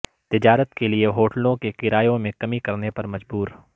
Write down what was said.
تجارت کیلئے ہوٹلوں کے کرایوں میں کمی کرنے پر مجبور